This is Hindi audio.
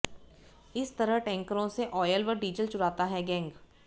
इस तरह टैंकरों से ऑयल व डीजल चुराता है गैंग